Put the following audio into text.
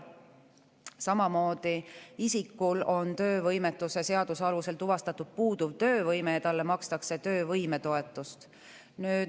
Samamoodi, kui isikul on töövõimetuse seaduse alusel tuvastatud puuduv töövõime, siis makstakse talle töövõimetoetust.